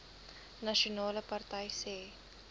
nasionale party sê